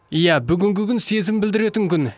иә бүгінгі күн сезім білдіретін күн